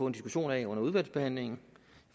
en diskussion af under udvalgsbehandlingen